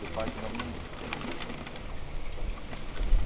Da parte da minha mãe. Uhum. Todos brasileiros.